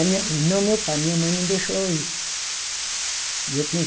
Aí meu, não meu pai, minha mãe não deixou eu ir. E eu tinha